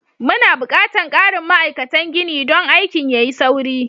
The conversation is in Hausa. Muna buƙatar ƙarin ma'aikatan gini don aikin ya yi sauri.